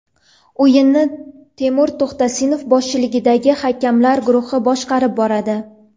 O‘yinni Temur To‘xtasinov boshchiligidagi hakamlar guruhi boshqarib boradi.